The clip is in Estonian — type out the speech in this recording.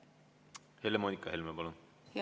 Helle-Moonika Helme, palun!